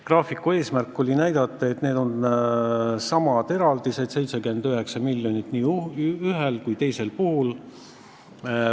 Graafiku eesmärk oli näidata, et tegu on samade eraldistega: 79 miljonit nii ühel kui teisel puhul.